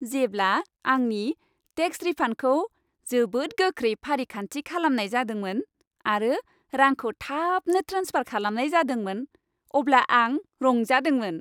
जेब्ला आंनि टेक्स रिफान्डखौ जोबोद गोख्रै फारिखान्थि खालामनाय जादोंमोन, आरो रांखौ थाबनो ट्रेन्सफार खालामनाय जादोंमोन, अब्ला आं रंजादोंमोन।